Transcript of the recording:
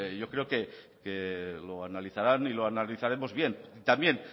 yo creo que lo analizarán y lo analizaremos bien también